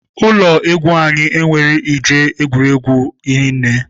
Ụlọ egwu anyị enweghị ihe eji egwuri egwu hinne.